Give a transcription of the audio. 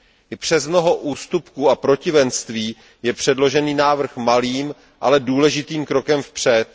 I přes mnoho ústupků a protivenství je předložený návrh malým, ale důležitým krokem vpřed.